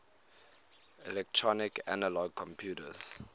electronic analog computers